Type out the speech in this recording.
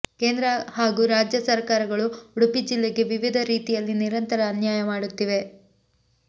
ಕೇಂದ್ರ ಹಾಗೂ ರಾಜ್ಯ ಸರಕಾರಗಳು ಉಡುಪಿ ಜಿಲ್ಲೆಗೆ ವಿವಿಧ ರೀತಿಯಲ್ಲಿ ನಿರಂತರ ಅನ್ಯಾಯ ಮಾಡುತ್ತಿವೆ